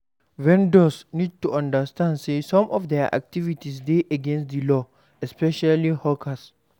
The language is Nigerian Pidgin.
Vendors need to understand sey some of their activites dey against di law especially hawkers